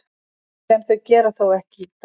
Sem þau gera þó ekki í dag.